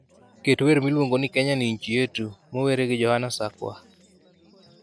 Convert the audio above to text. Ket wer miluongi ni kenya ni nchi yetu mower gi johana sakwa